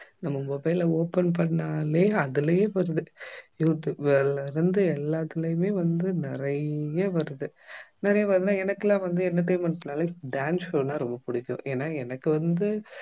நம்ம mobile அ open பண்ணாலே அதுலயே வருது யூடியூப்ல இருந்து எல்லாத்துலயுமே வந்து நிறைய வருது நிறைய வருதுன்னா எனக்கு எல்லாம் வந்து entertainment னாலே dance show னா ரொம்ப புடிக்கும் ஏன்னா எனக்கு வந்து